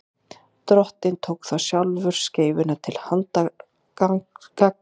drottinn tók þá sjálfur skeifuna til handargagns